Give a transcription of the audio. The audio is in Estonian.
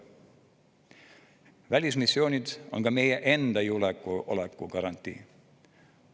Välismissioonid on ka meie enda julgeoleku garantii.